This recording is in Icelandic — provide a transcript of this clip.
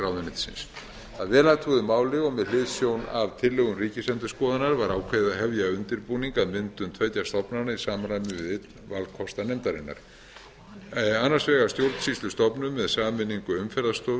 ráðuneytisins að vel athuguðu máli og með hliðsjón af tillögum ríkisendurskoðunar var ákveðið að hefja undirbúning að myndun tveggja stofnana í samræmi við einn valkosta nefndarinnar annars vegar stjórnsýslustofnunar með sameiningu umferðarstofu